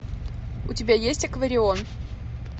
у тебя есть акварион